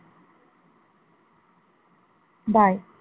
Bye.